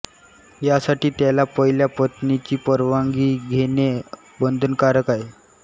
यासाठी त्याला पहिल्या पत्नीची परवानगी घेणे बंधनकारक आहे